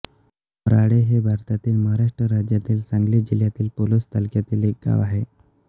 मोराळे हे भारतातील महाराष्ट्र राज्यातील सांगली जिल्ह्यातील पलुस तालुक्यातील एक गाव आहे